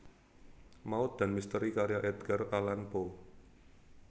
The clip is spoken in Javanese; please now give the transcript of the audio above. Maut dan Misteri karya Edgar Allan Poe